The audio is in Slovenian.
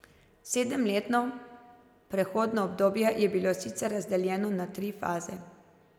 Sedemletno prehodno obdobje je bilo sicer razdeljeno na tri faze.